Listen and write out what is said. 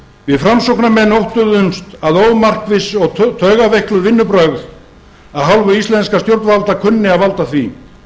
við framsóknarmenn óttuðumst að ómarkviss og taugaveikluð vinnubrögð af hálfu íslenskra stjórnvalda kunni að valda því